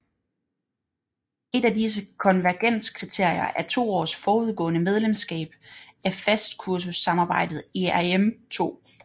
Et af disse konvergenskriterier er to års forudgående medlemskab af fastkurssamarbejdet ERM II